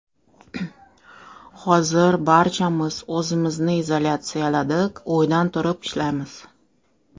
Hozir barchamiz o‘zimizni izolyatsiyaladik, uydan turib ishlaymiz.